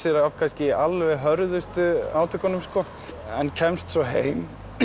af kannski alveg hörðustu átökunum en kemst svo heim